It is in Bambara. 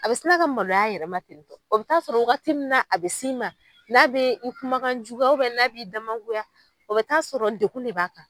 A be sina ka maloya a yɛrɛ ma ten tɔ, o bi taga sɔrɔ waati min na a bi s'i ma, n'a be i kumakan jugu, n'a bi damagoya, o bɛ taa sɔrɔ degun de b'a kan.